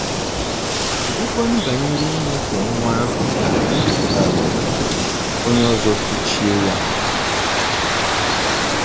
Kedụkwanụ banyere inyefe nwa ahụ ka um onye ọzọ kụchie ya?